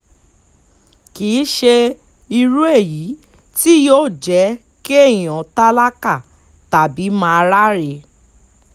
kì í ṣe irú èyí tí yóò jẹ́ kéèyàn tálákà tàbí máa ráre